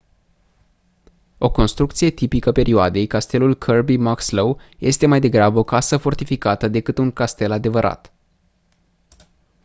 o construcție tipică perioadei castelul kirby muxloe este mai degrabă o casă fortificată decât un castel adevărat